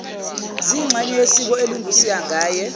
ziyingxenye yesiko elingusingaye